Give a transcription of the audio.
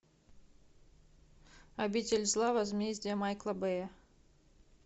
обитель зла возмездие майкла бэя